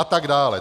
A tak dále.